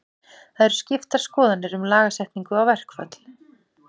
Það eru skiptar skoðanir um lagasetningu á verkföll.